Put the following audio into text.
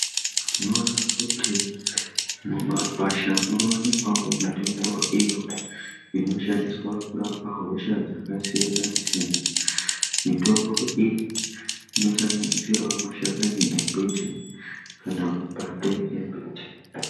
Tinoona kuti mumakwasha munowanikwawo mitombo iyo inoshandiswa kurapa hosha dzakasiyana-siyana. Mitombo iyi inosanganisirawo mashakani embiti kana mapande embuti.